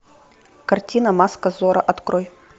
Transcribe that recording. картина маска зорро открой